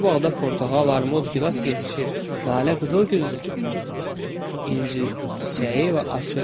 Bu bağda portağal, armud, gilas yetişir, lalə, qızıl gül, inci çiçəyi və açır.